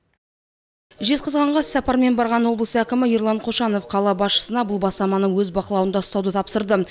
жезқазғанға іссапармен барған облыс әкімі ерлан қошанов қала басшысына бұл бастаманы өз бақылауында ұстауды тапсырды